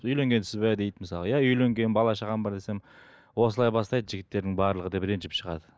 үйленгенсіз бе дейді мысалы иә үйленгенмін бала шағам бар десем осылай бастайды жігіттердің барлығы деп ренжіп шығады